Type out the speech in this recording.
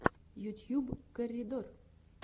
ютьюб корридор